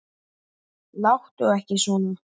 Láttu ekki svona